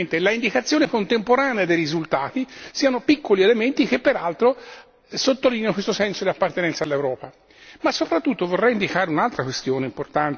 in cui si dovrà votare in tutti i paesi contemporaneamente e l'indicazione contemporanea dei risultati, piccoli elementi che peraltro sottolineano questo senso di appartenenza all'Europa.